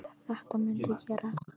Sagði að þetta mundi gerast.